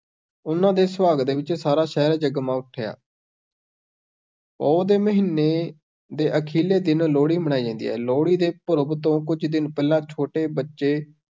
ਉਹਨਾਂ ਦੇ ਸੁਆਗਤ ਵਿੱਚ ਸਾਰਾ ਸ਼ਹਿਰ ਜਗਮਗਾ ਉਠਿਆ ਪੋਹ ਦੇ ਮਹੀਨੇ ਦੇ ਅਖ਼ੀਰਲੇ ਦਿਨ ਲੋਹੜੀ ਮਨਾਈ ਜਾਂਦੀ ਹੈ, ਲੋਹੜੀ ਦੇ ਪੂਰਬ ਤੋਂ ਕੁਝ ਦਿਨ ਪਹਿਲਾਂ ਛੋਟੇ ਬੱਚੇ